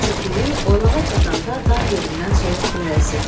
Ovçu Piri oylağa çatanda dan yerindən soyuq külək əsirdi.